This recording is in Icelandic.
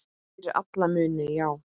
Fyrir alla muni, já.